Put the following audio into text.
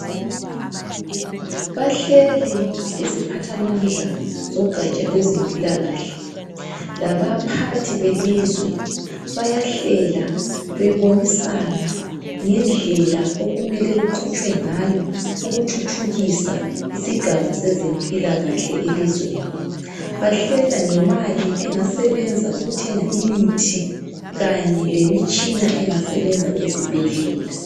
Bahleli iziphathamandla zogatsha lwezempilakahle labaphathi belizwe bayahlela bebonisana ngendlela okumele kuqhutshwe ngayo ukuthuthukisa isigaba sezempilakahle elizweni. Bahlela ngemali engasebenza ukuthenga imithi kanye lemitshina engasebenza ezibhedlela.